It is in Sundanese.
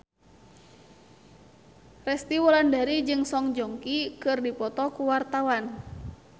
Resty Wulandari jeung Song Joong Ki keur dipoto ku wartawan